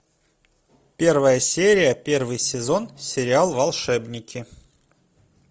первая серия первый сезон сериал волшебники